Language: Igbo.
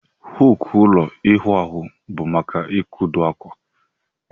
Huku ụlọ iwụ ahụ bu maka ikodo akwa.